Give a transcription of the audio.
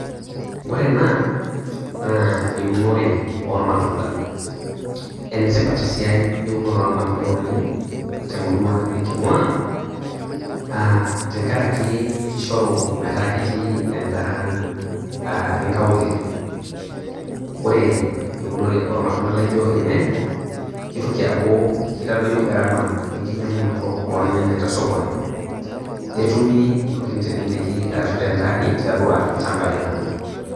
Ore ena, naa eunore oo irmatunda, enetipat esiai olmarunda oleng' temurua neking'ua , aa tenkaraki keishoru metaa ketii endaa inkaulele. Ore eunore o ilmatunda oijo ilnyanya keitoki aaku keitadoyo gharama enkinyang'unoto olnyanya te sikuoni, netumi te enkiteleleki ashu te entaani tiatua ilchambai lang'.